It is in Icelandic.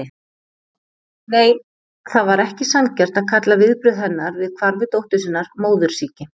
Nei, það var ekki sanngjarnt að kalla viðbrögð hennar við hvarfi dóttur sinnar móðursýki.